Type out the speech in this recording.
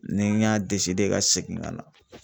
Ni n y'a de ka seegin ka na.